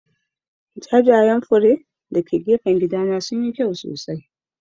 Jajayen fure???????? dake gefen gidana sunyi kyau sosai.